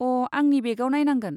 अ', आंनि बेगाव नायनांगोन।